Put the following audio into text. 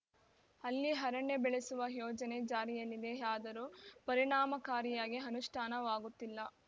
ಅಲ್ಲಿ ಅರಣ್ಯ ಬೆಳೆಸುವ ಯೋಜನೆ ಜಾರಿಯಲ್ಲಿದೆಯಾದರೂ ಪರಿಣಾಮಕಾರಿಯಾಗಿ ಅನುಷ್ಠಾನವಾಗುತ್ತಿಲ್ಲ